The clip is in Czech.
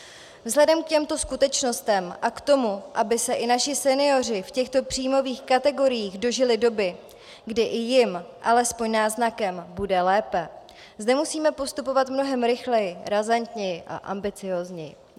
Vzhledem k těmto skutečnostem a k tomu, aby se i naši senioři v těchto příjmových kategoriích dožili doby, kdy i jim alespoň náznakem bude lépe, zde musíme postupovat mnohem rychleji, razantněji a ambiciózněji.